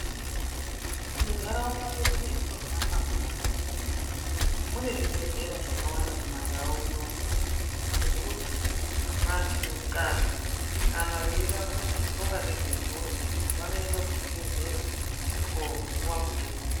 Mundaraunda medu matinohamba munomu mune zvibhedhlera zvakawanda kumaNdau unonu zvokuti vantu kadzi kana veida kuronga ngezve mburi vanoenda kuzvibhedhlera kopuwa mutombo.